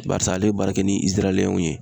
Barisa ale ye baara kɛ ni Iziraliyɛnw ye.